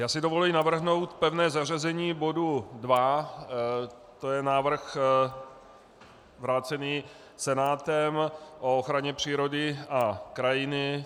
Já si dovoluji navrhnout pevné zařazení bodu 2, to je návrh vrácený Senátem o ochraně přírody a krajiny.